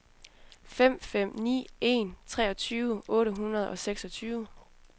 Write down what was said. fem fem ni en treogtyve otte hundrede og seksogtyve